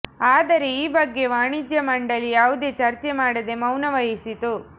ಆದರೆ ಈ ಬಗ್ಗೆ ವಾಣಿಜ್ಯ ಮಂಡಳಿ ಯಾವುದೇ ಚರ್ಚೆ ಮಾಡದೆ ಮೌನ ವಹಿಸಿತು